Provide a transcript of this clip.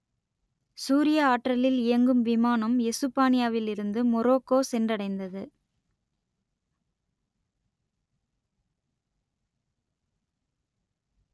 சூரிய ஆற்றலில் இயங்கும் விமானம் எசுப்பானியாவில் இருந்து மொரோக்கோ சென்றடைந்தது